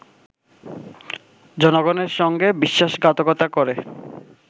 জনগণের সঙ্গে বিশ্বাসঘাতকতা করে